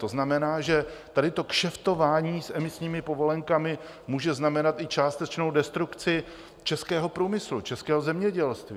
To znamená, že tady to kšeftování s emisními povolenkami může znamenat i částečnou destrukci českého průmyslu, českého zemědělství.